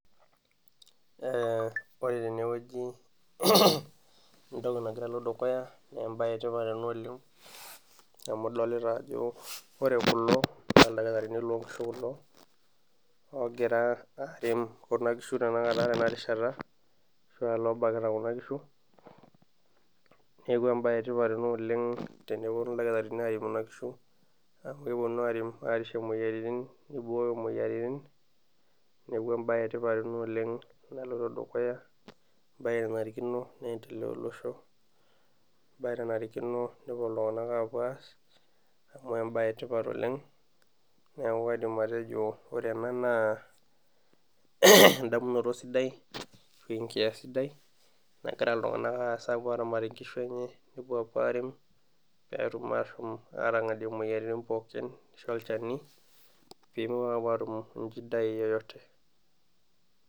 ore teneweji entoki nagira alo dukuya naa embae etipat ena oleng ,amu idolita ajo ore kulo naa lakitarini loonkishu kulo, oogira are kuna kishu tenakata tena rishata ashua loobakita Kuna kishu ,neeku embae ena etipat oleng teneponu kulo dakitarini arem kuna kishu amu kerishie moyiaritin ,neibooyo moyiaritin neeku embae etipat ena oleng naloito dukuya ,embae nanarikino neendelea tolosho ,embae nanarikino nepuo iltunganak apuo aas amu embae etipat oleng ,neeku akidim atejo ore ena naa endamunoto sidai nagira ltunganak apuo aramatie nkishu enye pee epuo arem pee etum ashom atangadie moyiaritin pookin ,neisho olchani pee mepuo atum shida yeyote.